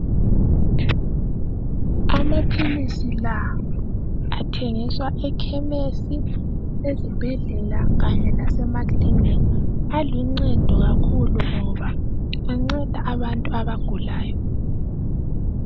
Amaphilisi la athengiswa ekhemisi ezibhedlela kanye lase makilinika aluncedo kakhulu ngoba anceda abantu abagulayo amaphilisi la athengiswa ekhemisi ezibhedlela kanye lase makilinika aluncedo kakhulu ngoba anceda abantu abagulayo